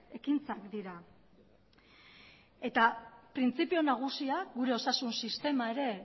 ekintzak dira eta printzipio nagusia gure osasun sistema ere